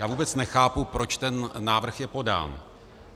Já vůbec nechápu, proč ten návrh je podán.